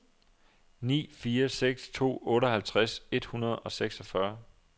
ni fire seks to otteoghalvtreds et hundrede og seksogfyrre